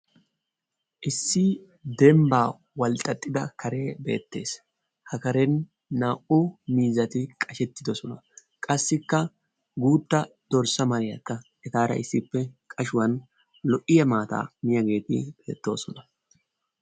Issi dembbaa walxxaxxida karee beettees. Ha karen na"u miizzati qashettidoosona. Qassikka guutta dorssa maariyaakka etaara issippe qashshuwaan lo"iya maataa miyiyaageti beettoosona.